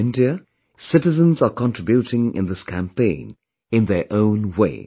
In India, citizens are contributing in this campaign in their own way